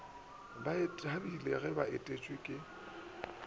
be bathabile ge atšweletše ka